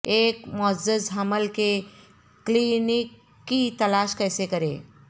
ایک معزز حمل کے کلینک کی تلاش کیسے کریں